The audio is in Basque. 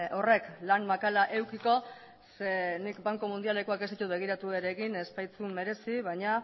horrek lan makala edukiko zeren nik banku mundialekoak ez ditut begiratu ere egin ez baitzuen merezi baina